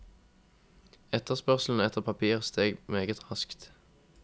Etterspørselen etter papir steg meget raskt.